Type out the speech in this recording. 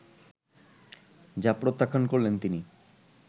যা প্রত্যাখ্যান করলেন তিনি